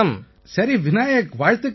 சரி விநாயக் வாழ்த்துக்கள்